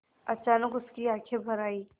अचानक उसकी आँखें भर आईं